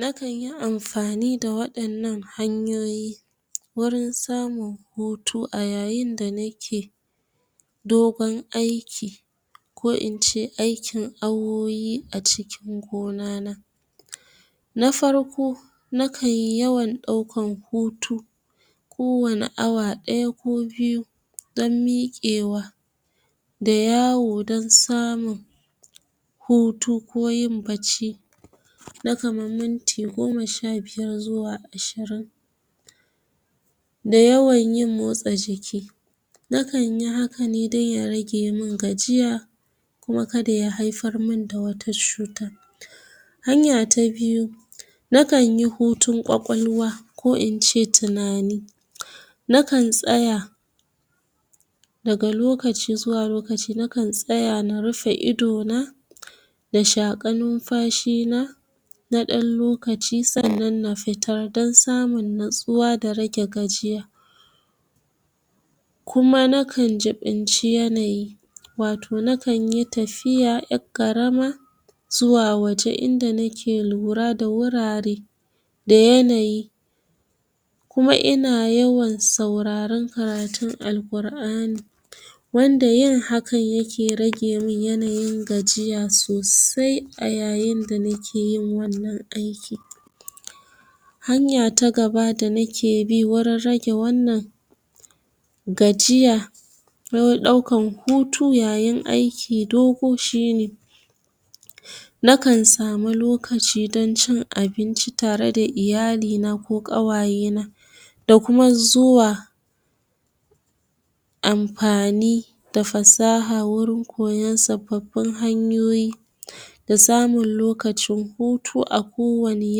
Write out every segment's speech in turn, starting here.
Nakan yi amfani da waɗannan hanyoyi wurin samun hutu, a yayin da nake dogon aiki, ko in ce aikin awowi a cikin gona na. Na farko, na kanyi yawan ɗaukan hutu ko wani awa ɗaya ko biyu, don miƙewa da yawo, don samun hutu ko yin bacci, na kaman minti goma sha biyar zuwa ashirin, da yawan yin motsa jiki. Nakan yi haka ne dan ya rage mun gajiya, kuma kada ya haifar mun da wata cuta. Hanya ta biyu, nakan yi hutun ƙwaƙwalwa ko in ce tunani, nakan tsaya daga lokaci zuwa lokaci na kan tsaya na rufe ido na, na shaƙa numfashi na na ɗan lokaci sannan na fitar, dan samun natsuwa da rage gajiya. Kuma nakan jiɓinci yanayi, wato nakan yi tafiya ƴar ƙarama zuwa waje, inda nake lura da wurare da yanayi, kuma ina yawan sauraron karatun alƙur'ani, wanda yin hakan yake rage mun yanayin gajiya sosai, a yayin da nake yin wannan aiki. Hanya ta gaba da nake bi wurin rage wannan gajiya, rawar ɗaukan hutu yayin aiki dogo shine: na kan samu lokaci dan cin abinci tare da iyali na ko ƙawaye na, da kuma zuwa amfani da fasaha, wurin koyan sababin hanyoyi na samun lokacin hutu a ko wani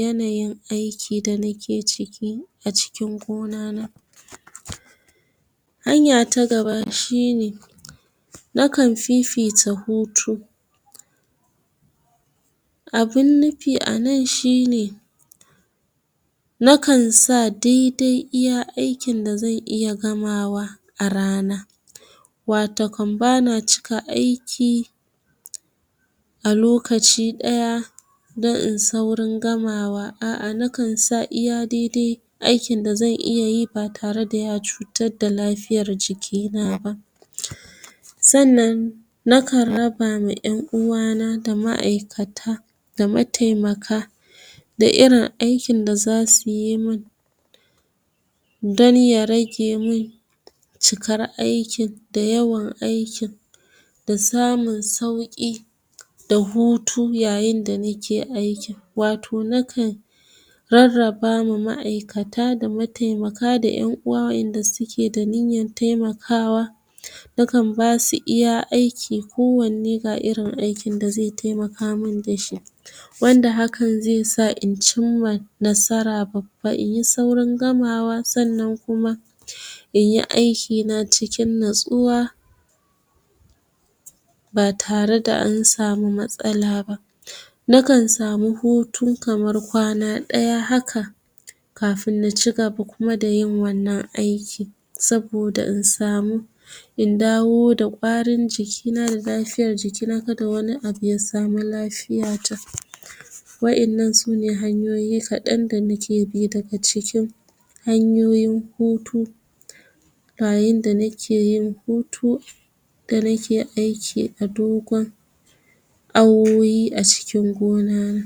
yanayin aiki, da na ke ciki a cikin gona na. hanya ta gaba shine, na kan fifita hutu. Abun nufi a nan shine, nakan sa dai-dai iya aikin da zan iya gamawa a rana, watakon bana cika aiki a lokaci ɗaya, don in saurin gamawa, a'a nakan sa iya dai-dai aikin da zan iya yi, ba tare da ya cutad da lafiyar jikina ba. Sannan nakan raba ma ƴan uwa na, da ma'aikata, da mataimaka, da irin aikin da zasu yi mun, don ya rage mun cikar aikin da yawan aiki, da samun sauƙi da hutu, yayin da nike aikin. Wato nakan rarraba ma ma'aikata, da mataimaka, da ƴan uwa wa'inda suke da niyyan taimakawa, nakan basu iya aiki, ko wanne ga irin aikin da zai taimaka mun dashi, wanda hakan zai sa in cimma babba, inyi saurin gamawa, sannan kuma inyi aiki na cikin natsuwa ba tare da an samu matsala ba. Nakan samu hutun kamar kwana ɗaya haka, kafun na cigaba kuma da yin wannan aiki, saboda in samu in dawo da ƙwarin jiki na da lafiyar jiki na, kada wani abu ya samu lafiya ta. Wa'innan su ne hanyoyi da nake bi, kaɗan daga cikin hanyoyin hutu, yayin da nake yin hutu, da nake aiki a dogon awowi a cikin gona na.